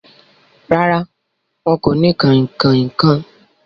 Rárá, wọn kò ni kanrínnkan kan.